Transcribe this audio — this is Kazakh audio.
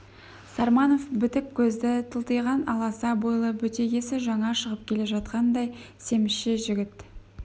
сарманов бітік көзді тылтиған аласа бойлы бөтегесі жаңа шығып келе жатқандай семізше жігіт